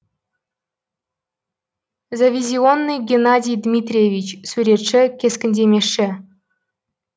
завизионный геннадий дмитриевич суретші кескіндемеші